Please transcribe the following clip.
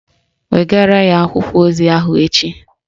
Wegara ya akwụkwọ ozi ahụ echi